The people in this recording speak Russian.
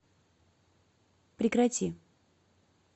прекрати